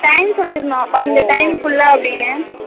time சொல்லிறனு time குள்ள